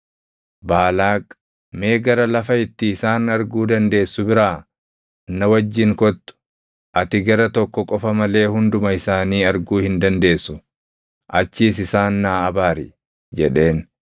Baalaaq, “Mee gara lafa itti isaan arguu dandeessu biraa na wajjin kottu; ati gara tokko qofa malee hunduma isaanii arguu hin dandeessu. Achiis isaan naa abaari” jedheen.